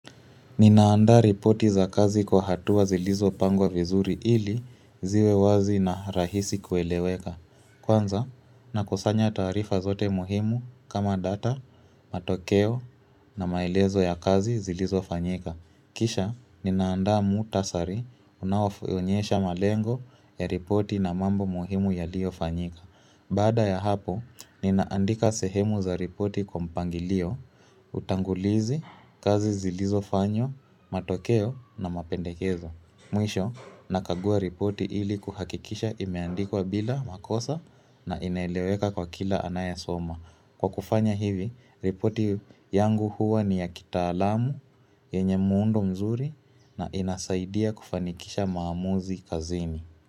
Ninaanda ripoti za kazi kwa hatua zilizo pangwa vizuri ili ziwe wazi na rahisi kueleweka. Kwanza, nakusanya tarifa zote muhimu kama data, matokeo na maelezo ya kazi zilizo fanyika. Kisha, ninaanda mutasari unawaonyesha malengo ya ripoti na mambo muhimu yalio fanyika. Bada ya hapo, ninaandika sehemu za ripoti kwa mpangilio, utangulizi, kazi zilizo fanyo, matokeo na mapendekezo. Mwisho, nakagua ripoti ili kuhakikisha imeandikwa bila makosa na ineleweka kwa kila anayesoma. Kwa kufanya hivi, ripoti yangu huwa ni ya kitaaalamu, yenye mundo mzuri na inasaidia kufanikisha maamuzi kazini.